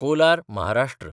Kolar (Maharashtra)